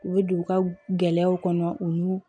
U bɛ don u ka gɛlɛyaw kɔnɔ u n'u